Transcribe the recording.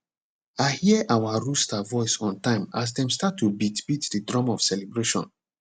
i hear our rooster voice on time as dem start to beat beat the drum of celebration